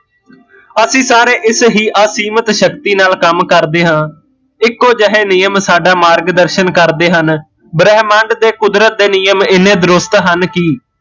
ਅਸੀਂ ਸਾਰੇ ਇਸ ਹੀਂ ਅਸੀਮਿਤ ਸ਼ਕਤੀ ਨਾਲ਼ ਕੰਮ ਕਰਦੇ ਹਾਂ, ਇੱਕੋ ਜਿਹੇ ਨਿਯਮ ਸਾਡਾ ਮਾਰਗ ਦਰਸ਼ਨ ਕਰਦੇ ਹਨ, ਬ੍ਰਹਮੰਡ ਤੇ ਕੁਦਰਤ ਦੇ ਨਿਯਮ ਇਨੇ ਦਰੁਸਤ ਹਨ ਕੀ